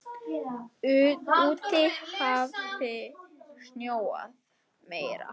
Úti hafði snjóað meira.